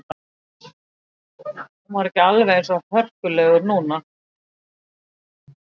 Hann var ekki alveg eins hörkulegur núna.